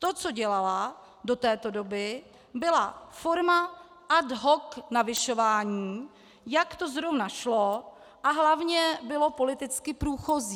To, co dělala do této doby, byla forma ad hoc navyšování, jak to zrovna šlo a hlavně bylo politicky průchozí.